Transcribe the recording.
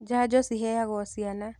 Janjo ciheagwo ciana.